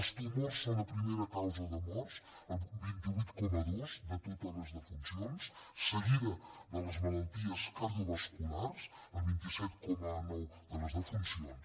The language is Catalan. els tumors són la primera causa de morts el vint vuit coma dos de totes les defuncions seguida de les malalties cardiovasculars el vint set coma nou de les defuncions